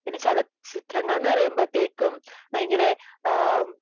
പിന്നെ ചലച്ചിത്രങ്ങളെന്ന് പറയുമ്പോഴത്തേക്കും ഭയങ്കര